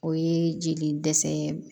O ye jeli dɛsɛ ye